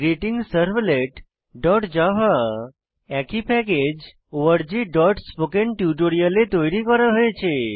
greetingservletজাভা একই প্যাকেজ orgস্পোকেন্টিউটোরিয়াল এ তৈরী করা হয়েছে